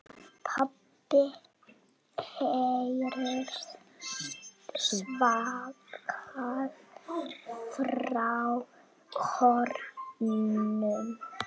PABBI heyrist svarað frá kórnum.